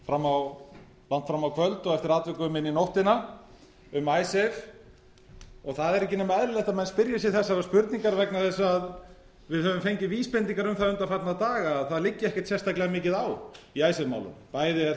hafa fund langt fram á kvöld og eftir atvikum inn í nóttina um icesave og það er ekki nema eðlilegt að menn spyrji sig þessarar spurningar vegna þess að á höfum fengið vísbendingar um það undanfarna daga að það liggi ekkert sérstaklega mikið á í icesave málum bæði er